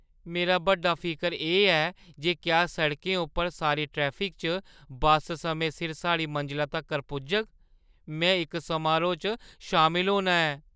मेरा बड्डा फिकर एह् ऐ जे क्या सड़कें उप्पर सारी ट्रैफिक च बस समें सिर साढ़ी मंजला तक्कर पुजग। में इक समारोह् च शामल होना ऐ।